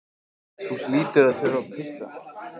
Þú hlýtur að þurfa að pissa.